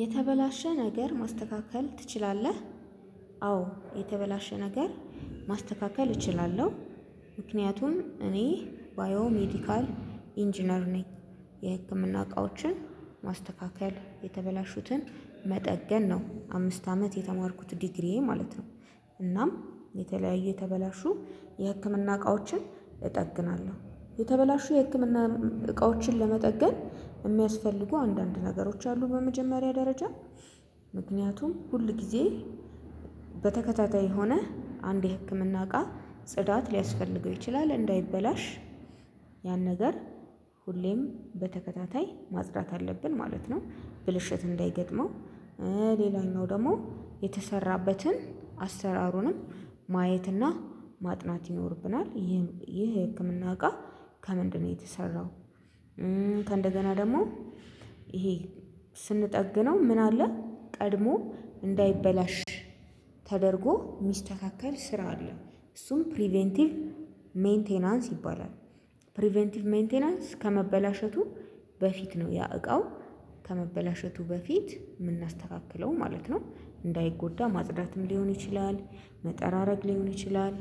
የተበላሸ ነገር ማስተካከል ትችላለህ? አዎ የተበላሸ ነገር ማስተካከል እችላለሁ። ምክንያቱም እኔ ባዮ ሜዲካል ኢንጂነር ነኝ። የህክምና እቃዎችን ማስተካከል የተበላሹትን መጠገን ነው አምስት አመት የተማርኩት ዲግሪዬ ማለት ነው። እናም የተለያየ የተበላሹ የህክምና እቃዎችን እጠግናለሁ። የተበላሹ የህክምና እቃዎችን ለመጠገን የሚያስፈልጉ አንዳንድ ነገሮች አሉ። በመጀመሪያ ደረጃ ምክንያቱም ሁል ጊዜ በተከታታይ ሆነህ አንዴ ህክምና እቃ ጽዳት ሊያስፈልገው ይችላል እንዳይበላሽ። ያን ነገር ሁሌም በተከታታይ ማጽዳት አለብን ማለት ነው። ብልሽት እንዳይገጥመው። ሌላኛው ደግሞ የተሰራበትን አሰራሩንም ማየትና ማጥናት ይኖርብናል። ይህ የህክምና እቃ ከምንድነው የተሰራው? ከእንደገና ደግሞ ይሄ ስንጠግነው ምን አለ ቀድሞ እንዳይበላሽ ተደርጎ ሚስተካከል ስራ አለ። እሱም ፕሪቬንቲቭ ሜንቴናንስ ይባላል። ፕሪቬንቲቭ ሜንቴናንስ ከመበላሸቱ በፊት ነው። ያ እቃው ከመበላሸቱ በፊት የምናስተካክለው ማለት ነው። እንዳይጎዳ ማጽዳትም ሊሆን ይችላል መጠራረግ ሊሆን ይችላል።